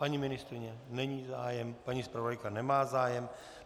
Paní ministryně nemá zájem, paní zpravodajka nemá zájem.